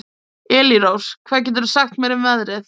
Elírós, hvað geturðu sagt mér um veðrið?